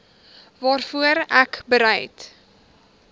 waarvoor ek bereid